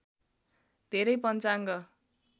धेरै पञ्चाङ्ग